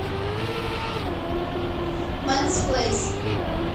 мэнс плейс